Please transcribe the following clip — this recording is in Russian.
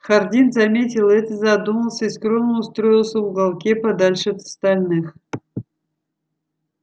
хардин заметил это задумался и скромно устроился в уголке подальше от остальных